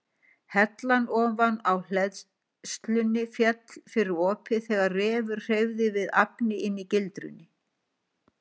Hellan ofan á hleðslunni féll fyrir opið þegar refur hreyfði við agni inni í gildrunni.